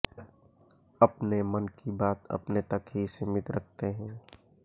अपने मन की बात अपने तक ही सीमित रखते हैं